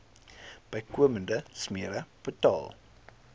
bykomende smere betaal